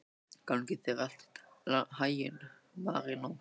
Gangi þér allt í haginn, Marínó.